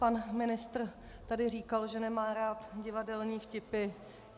Pan ministr tady říkal, že nemá rád divadelní vtipy.